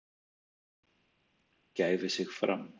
gæfi sig fram.